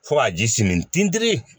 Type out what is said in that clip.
Fo ka ji simi tinti